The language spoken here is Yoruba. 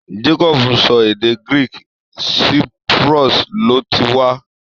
Jacob ń sọ èdè Greek, Cyprus ló ti wá.